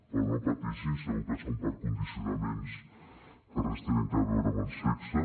però no pateixin segur que és per condicionaments que res tenen a veure amb el sexe